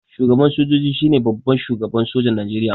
Shugaban sojoji shine babban shugaban sojan Nijeriya